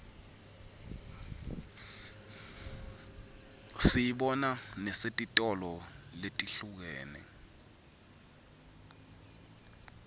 siyibona nesetitolo letihlukene